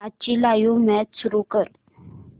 आजची live match सुरू कर